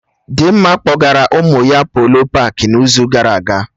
Dịmma kpọgara ụmụ ya Polo paakị n'izu gara aga